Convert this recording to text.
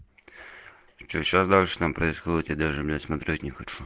что сейчас дальше там происходит я даже бля смотреть не хочу